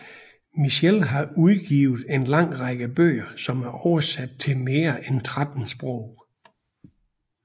Mielche har udgivet en lang række bøger som er oversat til mere end 13 sprog